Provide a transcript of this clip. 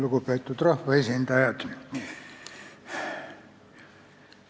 Lugupeetud rahvaesindajad!